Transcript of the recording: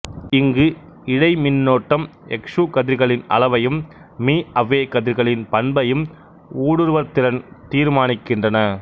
இங்கு இழை மின்னோட்டம் எக்சு கதிர்களின் அளவையும் மி அ வே கதிர்களின் பண்பையும் ஊடுருவற்திறன் தீர்மானிக்கின்றன